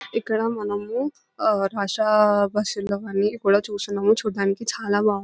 ఇక్కడ మనము ఆ రష బస్సు లను అవన్నీ కూడా చూస్తున్నాము చూడడానికి చాలా బాగు --